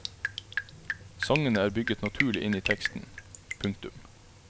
Sangene er bygget naturlig inn i teksten. punktum